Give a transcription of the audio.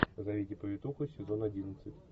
позовите повитуху сезон одиннадцать